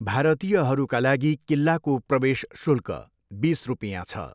भारतीयहरूका लागि किल्लाको प्रवेश शुल्क बिस रुपियाँ छ।